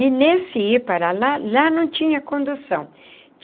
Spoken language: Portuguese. E nesse ir para lá, lá não tinha condução.